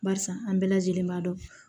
Barisa an bɛɛ lajɛlen b'a dɔn